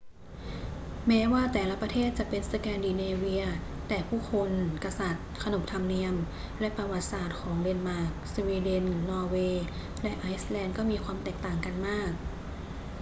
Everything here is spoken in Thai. แม้ว่าแต่ละประเทศจะเป็น สแกนดิเนเวีย แต่ผู้คน กษัตริย์ ขนบธรรมเนียม และประวัติศาสตร์ของเดนมาร์ก สวีเดน นอร์เวย์ และไอซ์แลนด์ก็มีความแตกต่างกันมาก